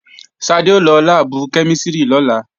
Ṣadé ó lọ láàbù kẹ́mísìrì lọ́la